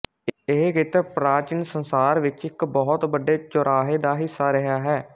ਇਹ ਖੇਤਰ ਪ੍ਰਾਚੀਨ ਸੰਸਾਰ ਵਿੱਚ ਇੱਕ ਬਹੁਤ ਵੱਡੇ ਚੁਰਾਹੇ ਦਾ ਹਿੱਸਾ ਰਿਹਾ ਹੈ